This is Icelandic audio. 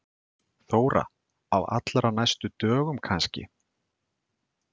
Þóra: Á allra næstu dögum kannski?